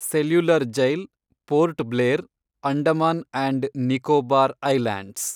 cellular jail ,Port Blair, Andaman and Nicobar islands